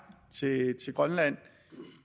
til grønland